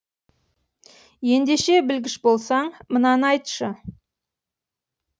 ендеше білгіш болсаң мынаны айтшы